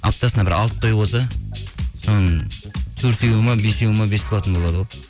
аптасына бір алты той болса соның төртеуі ме бесеуі ме бесплатно болады ғой